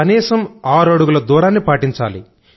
కనీసం ఆరు అడుగుల దూరాన్ని పాటించాలి